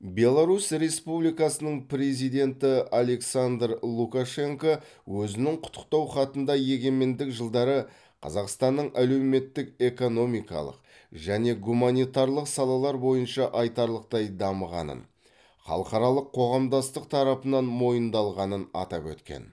беларусь республикасының президенті александр лукашенко өзінің құттықтау хатында егемендік жылдары қазақстанның әлеуметтік экономикалық және гуманитарлық салалар бойынша айтарлықтай дамығанын халықаралық қоғамдастық тарапынан мойындалғанын атап өткен